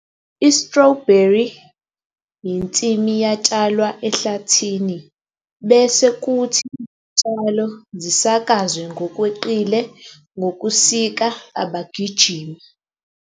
I-strawberry yensimu yatshalwa ehlathini bese kuthi izitshalo zisakazwe ngokweqile ngokusika abagijimi.